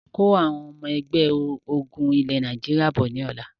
Kó Àwọn Ẹgbẹ́ ọmọ ogún ilẹ̀ Nàìjíríà bọ̀ lọ́la!